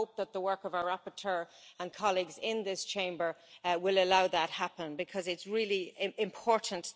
I hope that the work of our rapporteur and colleagues in this Chamber will allow that to happen because it is really important.